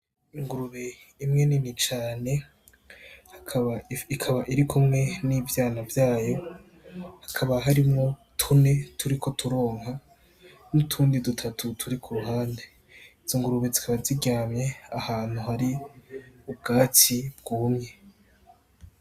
Ingurube imwe nini cane, ikaba irikumwe n'ivyana vyayo, hakaba harimwo tune turiko turonka n'utundi dutatu turi ku ruhande, izo ngurube zikaba ziryamye ahantu hari ubwatsi bwumye.